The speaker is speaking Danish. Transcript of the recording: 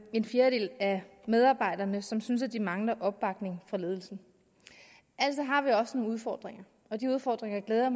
en fjerdedel af medarbejderne som synes at de mangler opbakning fra ledelsen altså har vi også nogle udfordringer og de udfordringer glæder